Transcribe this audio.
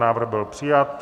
Návrh byl přijat.